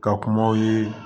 Ka kumaw ye